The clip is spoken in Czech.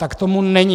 Tak tomu není!